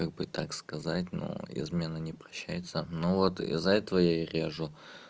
как бы так сказать но измена не прощается ну вот из-за этого я режу